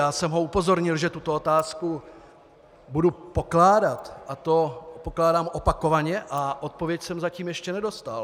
Já jsem ho upozornil, že tuto otázku budu pokládat, a to pokládám opakovaně a odpověď jsem zatím ještě nedostal.